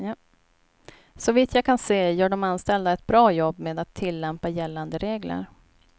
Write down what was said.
Såvitt jag kan se gör de anställda ett bra jobb med att tillämpa gällande regler.